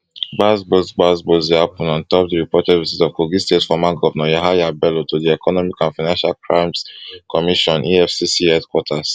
gbasgbos gbasgbos dey happun on top di reported visit of kogi state former govnor yahaya bello to di economic and financial crimes commission efcc headquarters